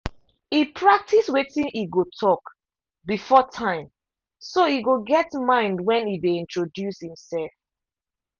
e practice wetin e go talk before time so e go get mind when e dey introduce himself.